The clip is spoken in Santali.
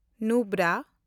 ᱱᱩᱵᱨᱟ